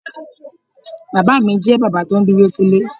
Bàbá mi jẹ́ bàbá tó ń dúró sílè.